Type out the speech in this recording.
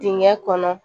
Dingɛ kɔnɔ